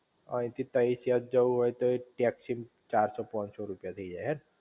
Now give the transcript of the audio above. આય થી તઈ ક્યાંક જવું હોય તોય ટેક્સી ચારસો પોનસો રૂપિયા થઈ જાય હે